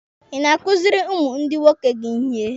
Ị na-akụzịrị ụmụ ndị nwoke gị ihe?